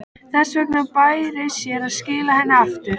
Þess vegna bæri sér að skila henni aftur.